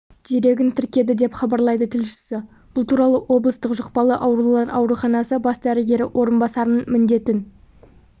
дерегін тіркеді деп хабарлайды тілшісі бұл туралы облыстық жұқпалы аурулар ауруханасы бас дәрігері орынбасарының міндетін